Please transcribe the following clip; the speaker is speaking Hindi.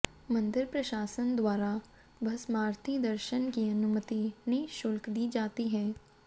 मंदिर प्रशासन द्वारा भस्मारती दर्शन की अनुमति निःशुल्क दी जाती है